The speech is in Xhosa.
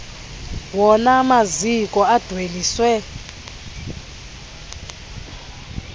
wona maziko adweliswe